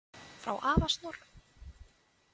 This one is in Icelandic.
Frá afa Snorra.